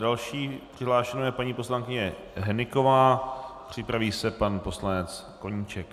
Další přihlášenou je paní poslankyně Hnyková, připraví se pan poslanec Koníček.